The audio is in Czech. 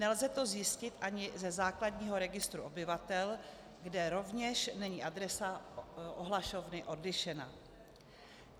Nelze to zjistit ani ze základního registru obyvatel, kde rovněž není adresa ohlašovny odlišena.